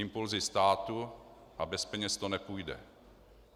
Impulzy státu a bez peněz to nepůjde.